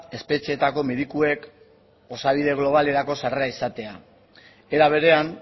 espetxeetako medikuek osabide globalerako sarrera izatea era berean